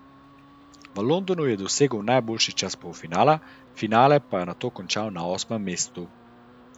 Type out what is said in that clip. V Londonu je dosegel najboljši čas polfinala, finale pa nato končal na osmem mestu.